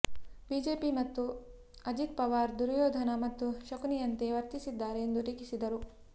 BJP ಮತ್ತು ಅಜಿತ್ ಪವಾರ್ ದುರ್ಯೋಧನ ಮತ್ತು ಶಕುನಿಯರಂತೆ ವರ್ತಿಸಿದ್ದಾರೆ ಎಂದು ಟೀಕಿಸಿದರು